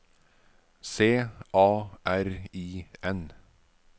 C A R I N